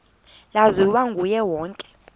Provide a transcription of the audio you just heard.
laziwa nguye wonke